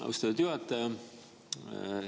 Austatud juhataja!